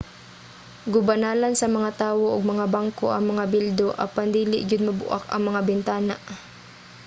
gubanalan sa mga tawo og mga bangko ang mga bildo apan dili gyud mabuak ang mga bintana